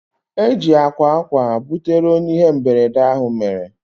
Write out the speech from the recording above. Eji akwa akwa butere onye ihe mberede ahụ mere